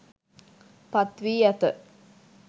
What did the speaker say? පත් වී ඇත